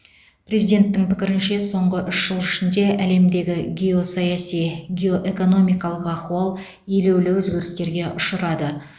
президенттің пікірінше соңғы үш жыл ішінде әлемдегі геосаяси геоэкономикалық ахуал елеулі өзгерістерге ұшырады